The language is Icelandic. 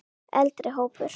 Eldri hópur